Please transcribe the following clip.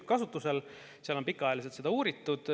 Seal on seda teemat ka pikaajaliselt uuritud.